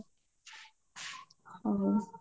ହଉ